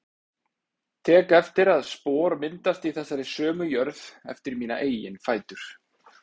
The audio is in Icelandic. Tek eftir að spor myndast í þessari sömu jörð eftir mína eigin fætur.